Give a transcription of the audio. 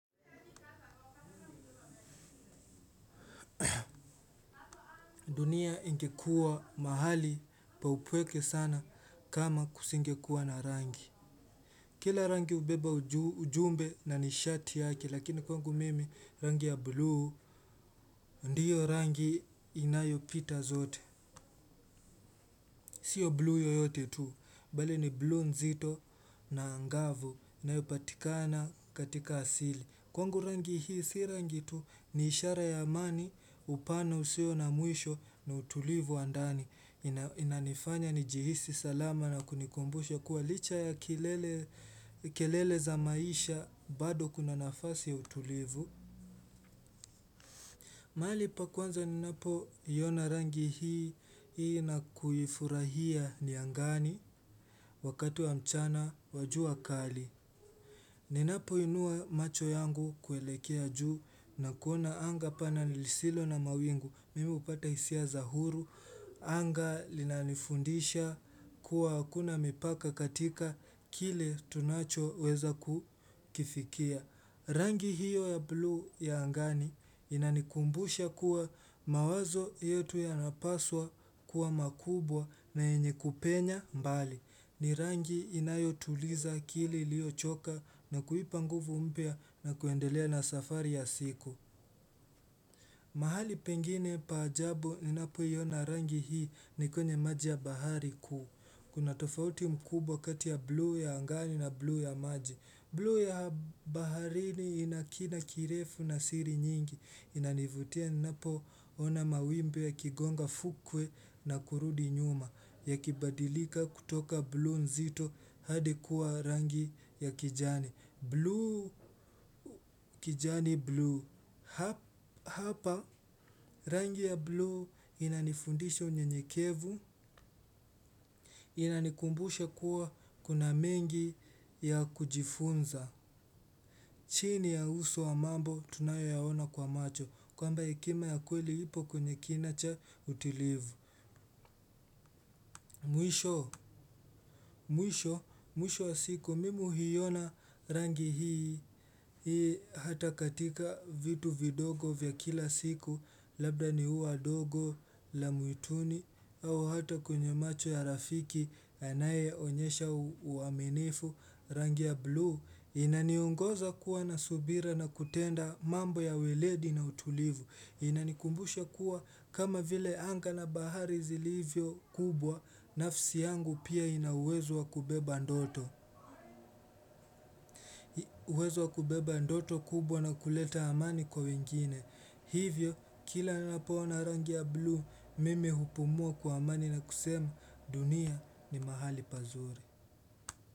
Dunia ingekuwa mahali pa upweke sana kama kusingekuwa na rangi. Kila rangi hubeba ujumbe na nishati yake lakini kwangu mimi rangi ya blue ndiyo rangi inayo pita zote. Sio blue yoyote tu bali ni blue nzito na angavu inayopatikana katika asili. Kwangu rangi hii si rangi tu ni ishara ya amani upano usio na muisho na utulivu wa ndani inanifanya nijihisi salama na kunikumbusha kuwa licha ya kelele za maisha bado kuna nafasi ya utulivu mahali pa kwanza ninapo iona rangi hii na kuyifurahia ni angani wakat wa mchana wa jua kali ninapoinua macho yangu kuelekea juu na kuona anga pana nilisilo na mawingu mimi hupata hisia za huru. Anga linanifundisha kuwa hakuna mipaka katika kile tunacho weza kufikia. Rangi hiyo ya blue ya angani inanikumbusha kuwa mawazo yetu yanapaswa kuwa makubwa na yenye kupenya mbali. Ni rangi inayotuliza akili iliyochoka na kuipa nguvu mpya na kuendelea na safari ya siku. Mahali pengine pa ajabu ninapoiona rangi hii ni kwenye maji ya bahari kuu. Kuna tofauti mkubwa kati ya blue ya angani na blue ya maji. Blue ya baharini ina kila kirefu na siri nyingi. Inanivutia ninapo ona mawimbi yakigonga fukwe na kurudi nyuma. Yakibadilika kutoka blue nzito hadi kuwa rangi ya kijani. Blue kijani blue. Hapa rangi ya blue inanifundisha unyenyekevu. Inanikumbusha kuwa kuna mengi ya kujifunza. Chini ya uso wa mambo tunayo yaona kwa macho kwamba hekima ya kweli ipo kwenye kinaa cha utilivu mwisho, mwisho, mwisho wa siku mimu huiona rangi hii. Hata katika vitu vidogo vya kila siku. Labda ni uwa dogo la mwituni au hata kwenye macho ya rafiki anayeonyesha uaminifu rangi ya blue inaniongoza kuwa na subira na kutenda mambo ya weledi na utulivu inanikumbusha kuwa kama vile anga na bahari zilivyo kubwa nafsi yangu pia ina uwezo wa kubeba ndoto uwezo wa kubeba ndoto kubwa na kuleta amani kwa wengine hivyo kila na napoona rangi ya blue mimi hupumua kwa amani na kusema dunia ni mahali pazuri.